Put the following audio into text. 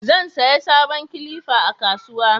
zan saya sabon kilifa a kasuwa